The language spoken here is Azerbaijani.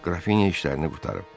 Qrafinya işlərini qurtarıb.